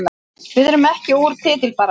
Við erum ekki úr titilbaráttunni